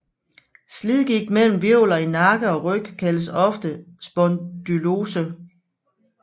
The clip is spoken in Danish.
Slidgigt mellem hvirvler i nakke og ryg kaldes ofte spondylose